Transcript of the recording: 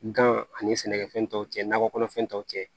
Gan ani sɛnɛkɛfɛn tɔw cɛ nakɔ kɔnɔfɛn taw cɛ